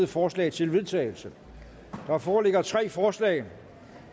forslag til vedtagelse der foreligger tre forslag